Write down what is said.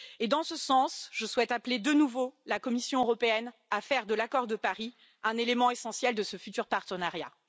Dans ce sens, je souhaite appeler de nouveau la Commission européenne à faire de l'accord de Paris un élément essentiel de ce futur partenariat.